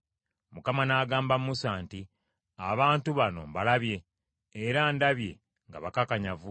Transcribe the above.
Mukama n’agamba Musa nti, “Abantu bano mbalabye, era ndabye nga bakakanyavu.